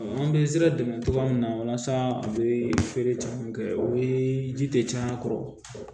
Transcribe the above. An bɛ sira dɛmɛ cogo min na walasa a bɛ feere caman kɛ o ye ji tɛ caya a kɔrɔ